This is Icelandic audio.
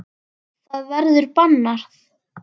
Það verður bannað.